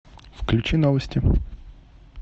включи новости